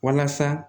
Walasa